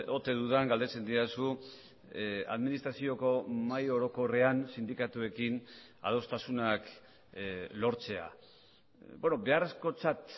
ote dudan galdetzen didazu administrazioko mahai orokorrean sindikatuekin adostasunak lortzea beharrezkotzat